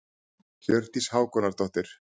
Hjördís Hákonardóttir.